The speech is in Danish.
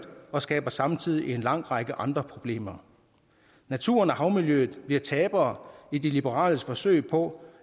og skaber samtidig en lang række andre problemer naturen og havmiljøet bliver tabere i de liberales forsøg på